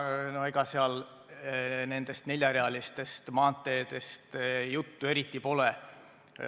Ega seal nendest neljarealistest maanteedest eriti juttu pole.